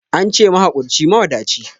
Ance mahakurci mawadaci